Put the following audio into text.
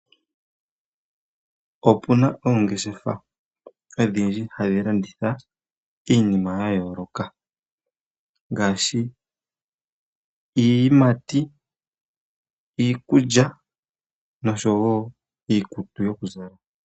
Opuna oongeshefa odhindji hadhi landitha iinima yayooloka ngaashi iiyimati, iikulya nosho wo iikutu yokuza la.